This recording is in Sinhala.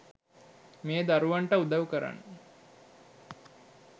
මේ දරුවන්ට උදවු කරන්න